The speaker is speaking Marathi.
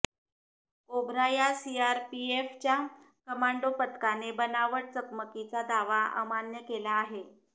कोब्रा या सीआरपीएफच्या कमांडो पथकाने बनावट चकमकीचा दावा अमान्य केला आहे